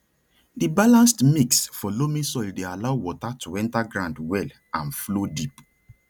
di balanced mix for loamy soil dey allow water to enter ground well and flow deep